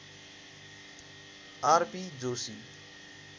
RP Joshi